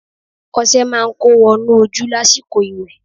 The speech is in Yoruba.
Ọṣẹ máa ń kó wọnú ojú lásìkò ìwẹ̀